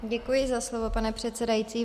Děkuji za slovo, pane předsedající.